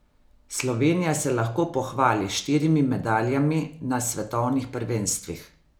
Slovenija se lahko pohvali s štirimi medaljami na svetovnih prvenstvih.